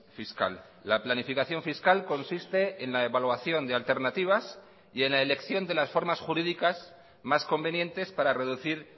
fiscal la planificación fiscal consiste en la evaluación de alternativas y en la elección de las formas jurídicas más convenientes para reducir